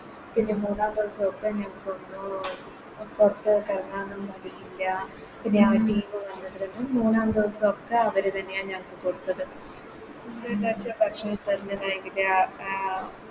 പിന്നെ മൂന്നാം ദിവസോക്കെ ഞങ്ങക്ക് ഒന്നും പൊറത്തെട്ടെറങ്ങാനും കഴിയില്ല പിന്നെ ആ Team മൂന്നാല് ദിവസോക്കെ അവരിതന്നെയാ ഞങ്ങക്ക് കൊടുത്തത്